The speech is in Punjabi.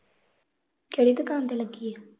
ਕਿਹੜੀ ਦੁਕਾਨ ਤੇ ਲੱਗੀ ਆ?